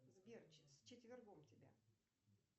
сбер с четвергом тебя